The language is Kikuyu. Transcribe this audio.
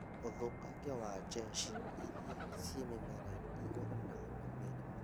ũthũkangia wa njeshi iria ciĩ mĩmera-inĩ ihuranaga na mĩrimũ